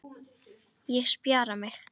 Ég spjara mig.